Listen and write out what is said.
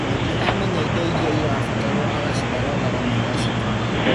Mwendia amenya indo iria irabatarwo agacithagathaga na agacitũma